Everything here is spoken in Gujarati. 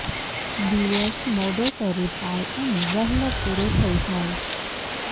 દિવસ મોડો શરુ થાય અને વહેલો પુરો થઇ જાય